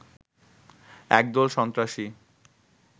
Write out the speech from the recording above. একদল সন্ত্রাসী